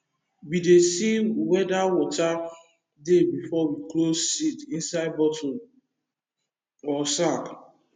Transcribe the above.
we dey see wheather water dey before we close seed inside bottle or sack